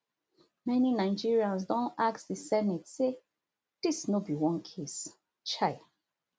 many nigerians don ask di senate say dis no be one case um